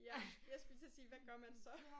Ja jeg skulle til at sige hvad gør man så